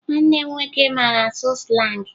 Nwanne m nwoke mara asụ slangị